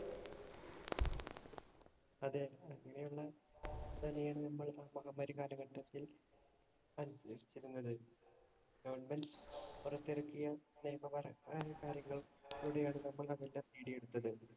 അതെ അങ്ങനെയുള്ള നമ്മൾ മഹാമാരി കാലഘട്ടത്തിൽ അനുഭവിച്ചിരുന്നത്. government പുറത്തിറക്കിയ അതിന്‍റെ വീഡിയോ എടുത്തത്.